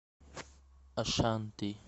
ашанти